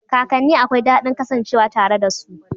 Kakanne akwai daɗin kasancewa tare da su.